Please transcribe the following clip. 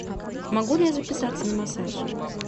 могу ли я записаться на массаж